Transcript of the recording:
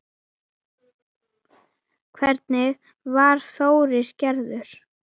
Þannig var Þórir gerður.